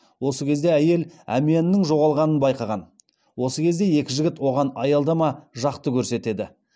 осы кезде әйел әмиянының жоғалғанын байқаған осы кезде екі жігіт оған аялдама жақты көрсетеді